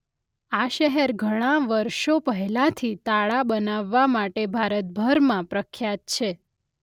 આ શહેર ઘણાં વર્ષો પહેલાંથી તાળાં બનાવવા માટે ભારતભરમાં પ્રખ્યાત છે.